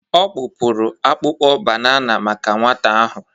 Ọ kpụpụrụ akpụkpọ banana maka nwata ahụ.